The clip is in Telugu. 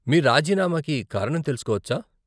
మీ రాజీనామాకి కారణం తెలుసుకోవచ్చా ?